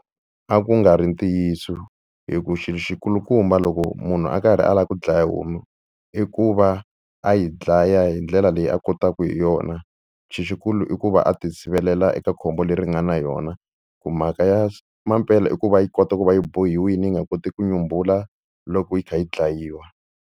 A ku nga ri ntiyiso hi ku xilo xi kulukumba loko munhu a karhi a lava ku dlaya homu i ku va a yi dlaya hi ndlela leyi a kotaka hi yona, xi xikulu i ku va a ti sivelela eka khombo leri nga na yona, ku mhaka ya mampela i ku va yi kota ku va yi bohiwile yi nga koti ku nyumbula loko yi kha yi dlayiwa.